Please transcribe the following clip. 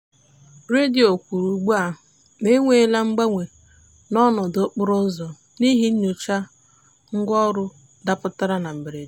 redio kwuru ugbua na e nweela mgbanwe n'ọnọdụ okporo ụzọ n'ihi nyocha ngwaọrụ dapụtara na mberede.